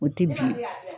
O tɛ bilen